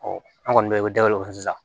an kɔni bɛ dabeleta sisan